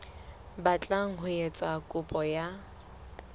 batlang ho etsa kopo ya